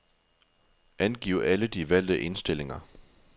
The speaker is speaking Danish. Angiv alle de valgte indstillinger.